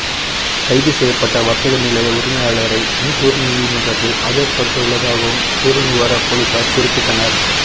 கைது செய்யப்பட்ட வர்த்தக நிலைய உரிமையாளரை மூதூர் நீதிமன்றில் ஆஜர்படுத்த உள்ளதாகவும் சேருநுவர பொலிஸார் குறிப்பிட்டனர்